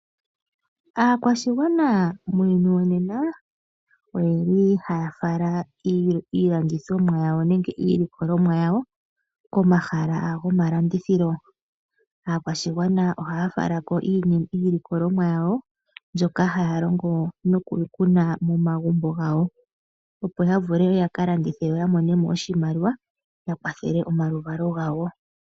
Aakwashigwana muuyuni wonena oyeli haya fala iilandithomwa yawo nenge iilikolomwa yawo komahala go malandithilo. Aakwashigwana ohaya falako iilikolomwa yawo mbyoka haya longo nokukuna momagumbo gawo opo yavule yakalandithe yo yamone oshimaliwa ya kwathele omaluvalo gawo.